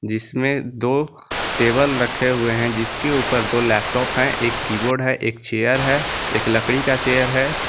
जिसमें दो टेबल रखे हुए हैं जिसके ऊपर दो लैपटॉप हैं एक कीबोर्ड है एक चेयर है एक लकड़ी का चेयर है।